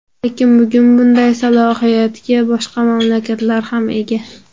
Lekin, bugun bunday salohiyatga boshqa mamlakatlar ham ega.